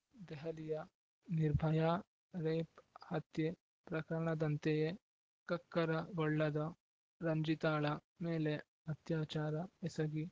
ದೆಹಲಿಯ ನಿರ್ಭಯಾ ರೇಪ್‌ ಹತ್ಯೆ ಪ್ರಕರಣದಂತೆಯೇ ಕಕ್ಕರಗೊಳ್ಳದ ರಂಜಿತಾಳ ಮೇಲೆ ಅತ್ಯಾಚಾರ ಎಸಗಿ